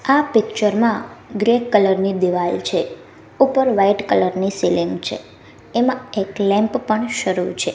આ પિક્ચર માં grey colour ની દિવાર છે ઉપર વ્હાઇટ કલર ની સિલિંગ છે એમાં એક લેમ્પ પણ શરૂ છે.